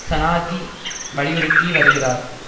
சநாதி வலியுறுத்தி வருகிறார்